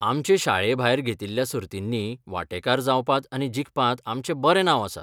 आमचे शाळेभायर घेतिल्ल्या सर्तींनी वांटेकार जावपांत आनी जिखपांत आमचें बरें नांव आसा.